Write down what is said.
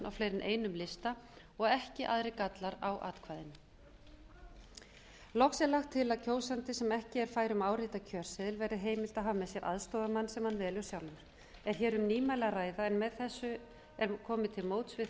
á fleiri en einum lista og ekki aðrir gallar á atkvæðinu loks er lagt til að kjósandi sem ekki er fær um að árita kjörseðil verði heimilt að hafa með sér aðstoðarmann sem hann velur sjálfur er hér um nýmæli að ræða en með þessu er komið til móts við þá sem